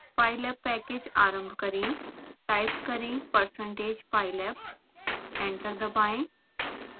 pylab package आरंभ करें type करें percentage pylab एंटर दबाएं